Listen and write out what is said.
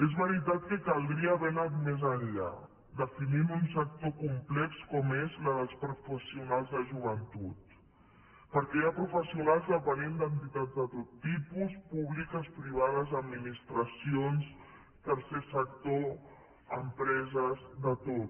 és veritat que caldria haver anat més enllà definint un sector complex com és el dels professionals de joventut perquè hi ha professionals dependents d’entitats de tot tipus públiques privades administracions tercer sector empreses de tot